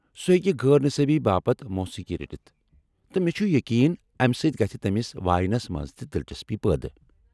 سُہ ہیٚکہ غٲر نِصٲبی باپت موسیقی رٔٹِتھ ، تہٕ مےٚ چُھ یقین امہِ سۭتۍ گژھِ تمِس واینس منٛز تہِ دلچسپی پٲدٕ۔